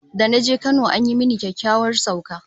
Da na je Kano an yi mini kyakkyawar sauka